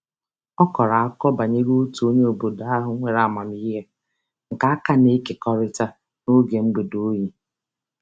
Ọ kọrọ akụkọ banyere otu onye obodo ahụ nwere amamiihe nke a ka na-ekekọrịta n'oge mgbede oyi.